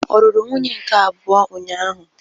Ọ lụrụ nwunye nke abụọ ụnyahụ?